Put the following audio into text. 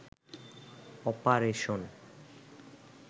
operation